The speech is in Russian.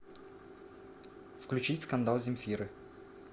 включить скандал земфиры